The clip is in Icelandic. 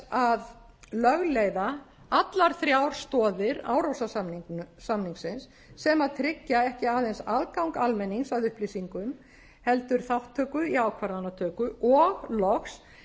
að lögleiða allar þrjár stoðir árósasamningsins sem tryggja ekki aðeins aðgang almennings að upplýsingum heldur þátttöku í ákvarðanatöku og loks